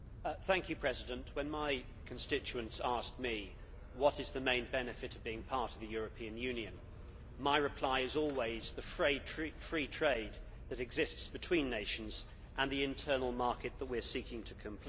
Mr President, when my constituents ask me about the main benefit of being part of the European Union, my reply is always the free trade that exists between nations and the internal market that we are seeking to complete.